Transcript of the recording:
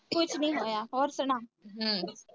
ਕੁੱਛ ਨੀ ਹੋਇਆ ਹੋਰ ਸੁਣਾ